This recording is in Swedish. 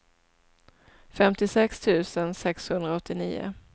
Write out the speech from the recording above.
femtiosex tusen sexhundraåttionio